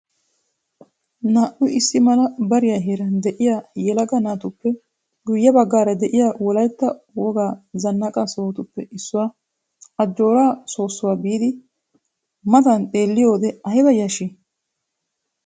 Naa"u issi mala bariyaa heeran de'iyaa yelaga naatuppe guye baggaara de'iyaa wolaytta wogaa zannaqa sohotuppe issuwaa ajjoora soossuwaa biidi matan xeelliyoode ayba yashshii!